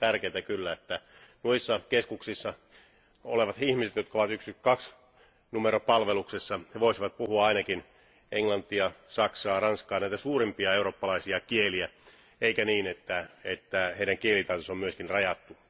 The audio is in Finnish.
Olisi tärkeätä kyllä, että noissa keskuksissa olevat ihmiset, jotka ovat 112 numeron palveluksessa, he voisivat puhua ainakin englantia, saksaa, ranskaa, näitä suurimpia eurooppalaisia kieliä, eikä niin, että heidän kielitaitonsa on myöskin rajattu.